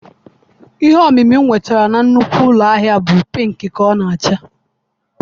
Ihe ọmịmị m nwetara na nnukwu ụlọ ahịa bụ pịịnkị ka ọ na-acha